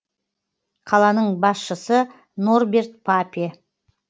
қаланың басшысы норберт папе